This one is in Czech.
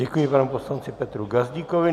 Děkuji panu poslanci Petru Gazdíkovi.